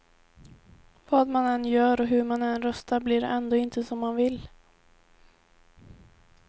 Vad man än gör och hur man än röstar blir det ändå inte som man vill.